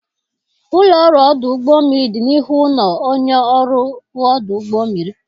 Ụlọ ọrụ ọdụ ụgbọ mmiri dị n'ihu ụlọ onye ọrụ ọdụ ụgbọ mmiri.